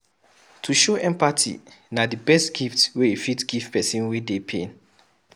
To show empathy na di best gift wey you fit give pesin wey dey pain.